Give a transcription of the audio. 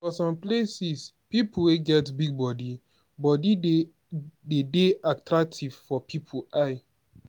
for some places pipo wey get big body body de dey attractive for pipo eye